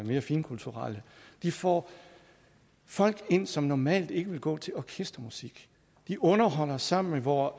mere finkulturelle de får folk ind som normalt ikke ville gå til orkestermusik de underholder sammen med vore